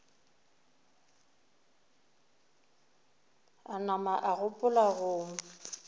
a nama a gopola go